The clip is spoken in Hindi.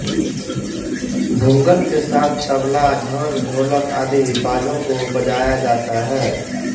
भूंगल के साथ तबला झांझ ढोलक आदि बाजों को बजाया जाता है